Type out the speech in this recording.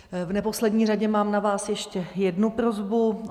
V neposlední řadě mám na vás ještě jednu prosbu.